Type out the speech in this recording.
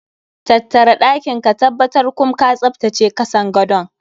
Tattara ɗakin ka tabbtar kum ka tsaftace kasan gadon.